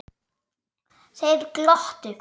Þeir glottu.